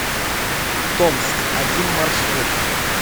томск один маршрут